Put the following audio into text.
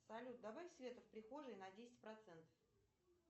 салют добавь света в прихожей на десять процентов